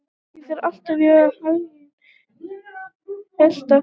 Gangi þér allt í haginn, Aletta.